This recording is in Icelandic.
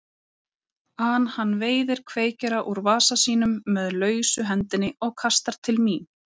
an hann veiðir kveikjara úr vasa sínum með lausu hendinni og kastar til mín.